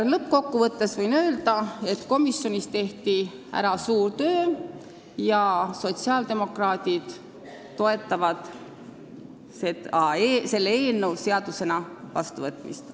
Lõppkokkuvõttes võin öelda, et komisjonis on ära tehtud suur töö ja sotsiaaldemokraadid toetavad selle eelnõu seadusena vastuvõtmist.